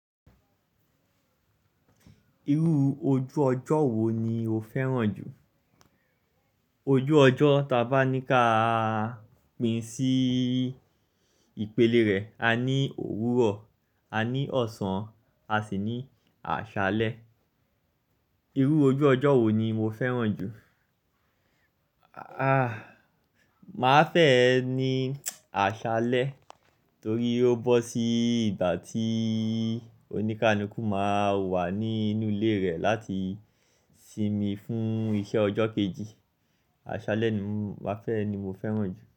Irú ojú ọjọ́ wo ni o fẹ́ràn jù? Ojú ọjọ́ taba ni ká pín sí ìpele rẹ̀. A ní òwúrọ̀, a ní ọ̀sán, a sì ní àṣálẹ́. Irú ojú ọjọ́ wo ni mo fẹ́ràn jù? Aà, màá fẹ́ ẹ ní àṣálẹ́ torí ó bọ́ sí ìgbà tí onikaluku máa wà nínú ilé rẹ̀ láti sinmi fún iṣẹ́ ọjọ́ kejì. Àṣálẹ́ ni mo fẹ́ràn jù.